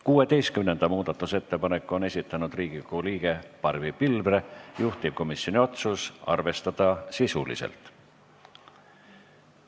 16. muudatusettepaneku on esitanud Riigikogu liige Barbi Pilvre, juhtivkomisjoni otsus on arvestada sisuliselt.